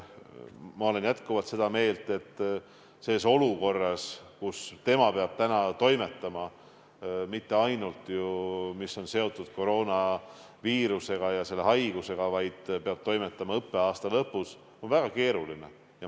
Ma olen jätkuvalt seda meelt, et olla selles olukorras, kus tema peab praegu toimetama – mitte ainult sellega, mis on seotud koroonaviirusega ja COVID-19 haigusega, vaid õppeaasta lõpu teemadega – on väga keeruline.